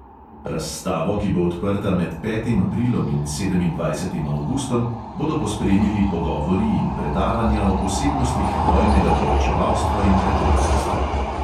Razstavo, ki bo odprta med petim aprilom in sedemindvajsetim avgustom, bodo pospremili pogovori in predavanja o posebnostih vojnega poročevalstva in reporterstva.